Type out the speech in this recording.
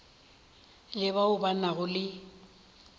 le bao ba nago le